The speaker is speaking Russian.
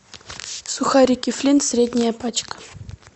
сухарики флинт средняя пачка